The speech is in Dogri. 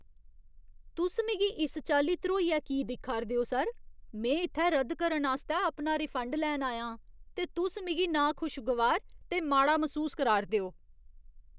तुस मिगी इस चाल्ली ध्रोइयै की दिक्खा 'रदे ओ सर? में इत्थै रद्दकरण आस्तै अपना रिफंड लैन आया आं ते तुस मिगी नाखुशगवार ते माड़ा मसूस कराऽ 'रदे ओ।